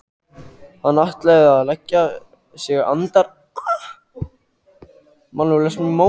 Hann hafði ætlað að leggja sig andar